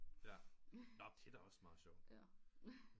Ja når det er da også meget sjovt